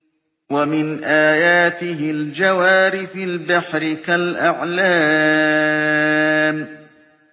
وَمِنْ آيَاتِهِ الْجَوَارِ فِي الْبَحْرِ كَالْأَعْلَامِ